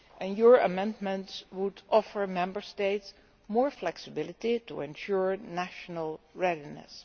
Your amendments would offer the Member States more flexibility to ensure national readiness.